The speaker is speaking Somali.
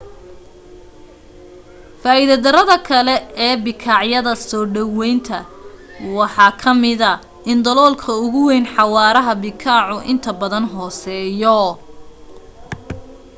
faa'iida darrada kale ee bikaacyada soo dhawaynta waxa ka mida in daloolka ugu wayn xawaaraha bikaacu inta badan hooseeyo